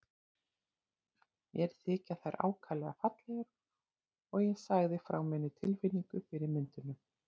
Mér þykja þær ákaflega fallegar og ég sagði frá minni tilfinningu fyrir myndunum.